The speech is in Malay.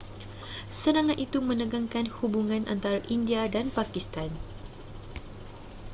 serangan itu menegangkan hubungan antara india dan pakistan